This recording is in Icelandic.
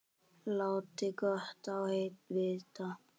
Láti gott á vita.